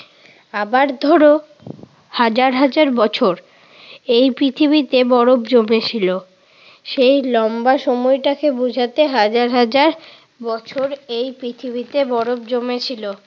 আবার ধরো হাজার হাজার বছর এই পৃথিবীতে বরফ জমেছিল। সেই লম্বা সময়টাকে বুঝাতে হাজার হাজার বছর এই পৃথিবীতে বরফ জমেছিল।